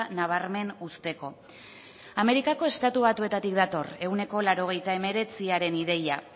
nabarmen uzteko amerikako estatu batuetatik dator ehuneko laurogeita hemeretziaren ideia